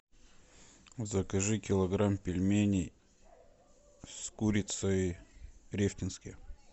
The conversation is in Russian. закажи килограмм пельменей с курицей рефтинские